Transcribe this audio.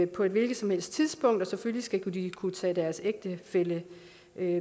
på et hvilket som helst tidspunkt og selvfølgelig skal de kunne tage deres ægtefælle